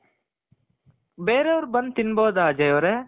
ಬೇರೆಯವ್ರು ಬಂದು ತಿನ್ಬಹುದ ಅಜಯ್ ಅವ್ರೆ